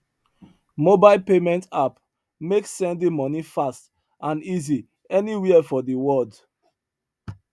mobile payment app make sending money fast and easy anywhere for the world